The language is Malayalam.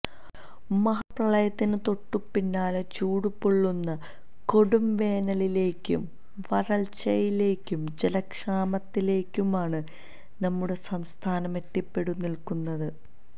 മഹാ പ്രളയത്തിന് തൊട്ടുപിന്നാലെ ചൂട്ടുപൊള്ളുന്ന കൊടുംവേനലിലേക്കും വര്ള്ച്ചയിലേക്കും ജലക്ഷാമത്തിലേക്കുമാണ് നമ്മുടെ സംസ്ഥാനം എത്തിപ്പെട്ടുനില്ക്കുന്നത്